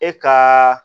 E ka